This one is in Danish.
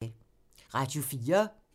Radio 4